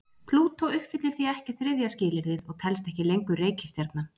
Plútó uppfyllir því ekki þriðja skilyrðið og telst ekki lengur reikistjarna.